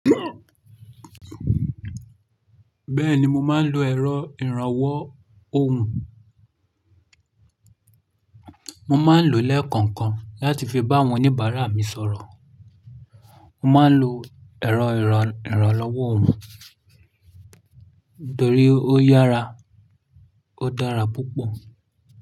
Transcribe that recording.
Bẹ́ẹ̀ni mo máa ń lo ẹ̀rọ ìrànwọ́ ohùn. Mo máa ń lo lẹ́ẹ̀kọ̀kan láti fi bá àwọn oníbàárà mi sọ̀rọ̀. Mo máa ń lo ẹ̀rọ ìrànlọ́wọ́ ohùn nitorí ó yára, ó dára púpọ̀